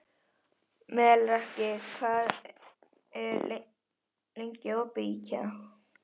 Melrakki, hvað er lengi opið í IKEA?